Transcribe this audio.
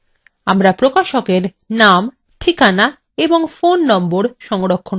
আমরা প্রকাশক we name ঠিকানা ও phone নম্বর সংরক্ষণ করতে পারি